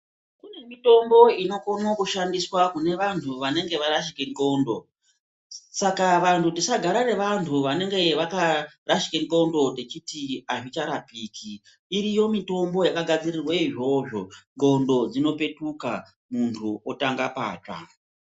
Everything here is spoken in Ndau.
Kune mitombo inokone kushandiswa kune vanhu vanenge varashike ndhlondo, saka vanhu tisagare nevanhu vanenge vakarashike ndhlondo tichiti azvicharapiki, iriyo mitombo yakagadzirirwe izvozvo ndhlondo dzinopetuka muntu otanga patsva.